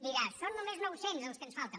dirà són només nou cents els que ens falten